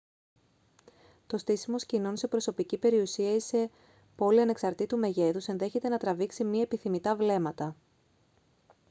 το στήσιμο σκηνών σε προσωπική περιουσία ή σε πόλη ανεξαρτήτου μεγέθους ενδέχεται να τραβήξει μη επιθυμητά βλέμματα